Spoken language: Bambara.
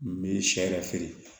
N bɛ sɛ yɛrɛ feere